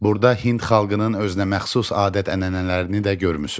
Burda Hind xalqının özünəməxsus adət-ənənələrini də görmüsüz.